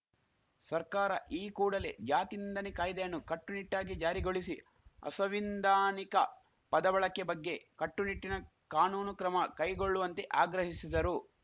ಸರ್ಕಾರ ಈ ಕೂಡಲೇ ಜಾತಿ ನಿಂದನೆ ಕಾಯ್ದೆಯನ್ನು ಕಟ್ಟುನಿಟ್ಟಾಗಿ ಜಾರಿಗೊಳಿಸಿ ಅಸವಿಂಧಾನಿಕ ಪದಬಳಕೆ ಬಗ್ಗೆ ಕಟ್ಟುನಿಟ್ಟಿನ ಕಾನೂನು ಕ್ರಮ ಕೈಗೊಳ್ಳುವಂತೆ ಆಗ್ರಹಿಸಿದರು